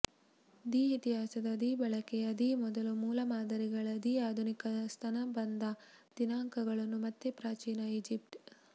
the ಇತಿಹಾಸದ the ಬಳಕೆಯ the ಮೊದಲ ಮೂಲಮಾದರಿಗಳ ದಿ ಆಧುನಿಕ ಸ್ತನಬಂಧ ದಿನಾಂಕಗಳನ್ನು ಮತ್ತೆ ಪ್ರಾಚೀನ ಈಜಿಪ್ಟ್